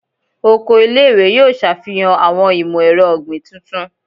Oko ile-iwe yoo ṣafihan awọn imọ-ẹrọ ogbin tuntun